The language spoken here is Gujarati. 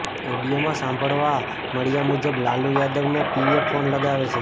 ઓડિયોમાં સાંભળવા મળ્યા મુજબ લાલુ યાદવને પીએ ફોન લગાવે છે